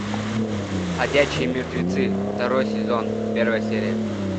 ходячие мертвецы второй сезон первая серия